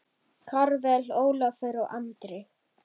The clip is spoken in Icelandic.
Karvel, Ólafur og Andri.